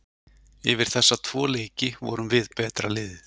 Yfir þessa tvo leiki vorum við betra liðið.